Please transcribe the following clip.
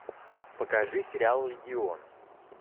покажи сериал легион